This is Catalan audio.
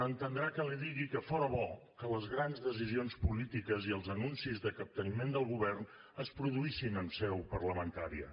entendrà que li digui que fora bo que les grans decisions polítiques i els anuncis de capteniment del govern es produïssin en seu parlamentària